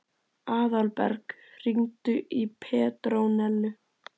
Aðalberg, hringdu í Petrónellu.